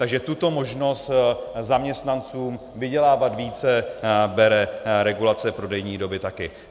Takže tuto možnost zaměstnancům vydělávat více bere regulace prodejní doby také.